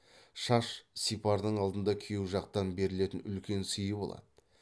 шаш сипардың алдында күйеу жақтан берілетін үлкен сыйы болады